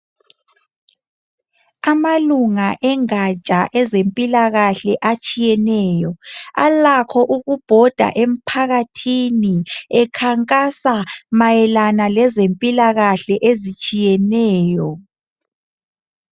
Amalunga engatsha ezempilakahle atshiyeneyo alakho ukubhoda emphakathini ekhankasa mayelana lezempilakahle ezitshiyeneyo.